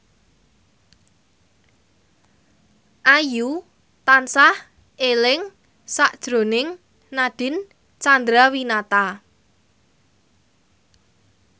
Ayu tansah eling sakjroning Nadine Chandrawinata